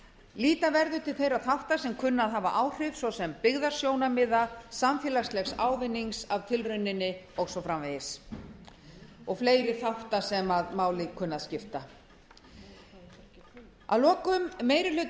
líta verður til þeirra þátta sem kunna að hafa áhrif svo sem byggðasjónarmiða samfélagslegs ávinnings af tilrauninni og svo framvegis og fleiri þátta sem máli kunna að skipta að lokum meiri hlutinn